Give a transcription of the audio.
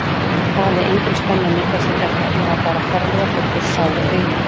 Það hafði engin spenna myndast við þetta, ég var bara ferlega þreyttur, sár og aumur.